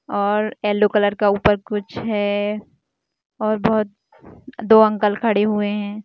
--और yellow colour का ऊपर कुछ है और बहुत दो अंकल खड़े हुए हैं।